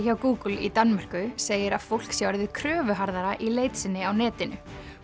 hjá Google í Danmörku segir að fólk sé orðið í leit sinni á netinu